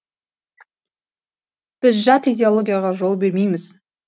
біз жат идеологияға жол бермейміз